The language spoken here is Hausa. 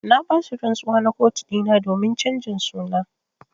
Na ba su rantsuwa na kotu dina domin chanjin suna.